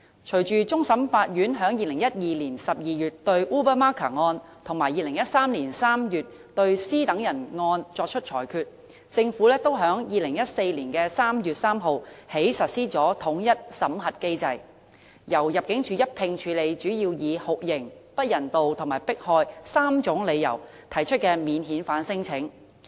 隨着終審法院在2012年12月對 Ubamaka 案，以及2013年3月對 C 等人案作出裁決，政府也在2014年3月3日起實施統一審核機制，由入境處一併處理主要以酷刑、不人道和迫害3種理由提出的免遣返聲請。